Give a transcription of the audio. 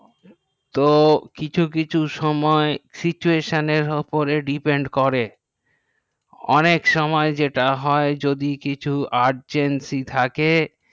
তো কিছুকিছু সুময় situation এর ওপর depend করে অনেক সময়ে যেটা হয়ে যদি কিছু urgentsy থাকে তো